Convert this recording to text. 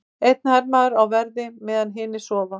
Einn hermaður á verði meðan hinir sofa.